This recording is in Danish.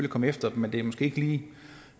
komme efter dem men det er måske ikke lige